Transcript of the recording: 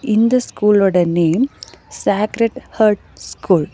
இந்த ஸ்கூலோட name sacred heart school .